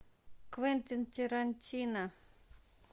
квентин тарантино